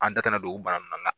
An da tɛ na don u bana nun